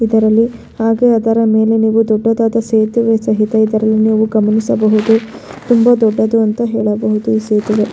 ಇದರಲ್ಲಿ ಹಾಗೆ ಅದರ ಮೇಲೆ ನೀವು ದೊಡ್ಡದಾದ ಸೇತುವೆ ಸಹಿತ ಇದರಲ್ಲಿ ನೀವು ಗಮನಿಸಬಹುದು ತುಂಬಾ ದೊಡ್ಡದು ಅಂತ ಹೇಳಬಹುದು ಈ ಸೇತುವೆ.